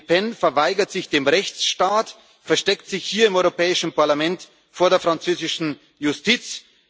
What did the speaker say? Le Pen verweigert sich dem Rechtsstaat, versteckt sich hier im Europäischen Parlament vor der französischen